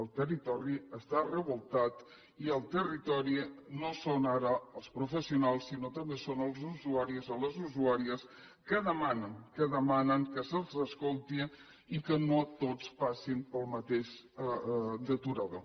el territori està revoltat i el territori no són ara els professionals sinó també són els usuaris o les usuàries que demanen que se’ls escolti i que no tots passin pel mateix aturador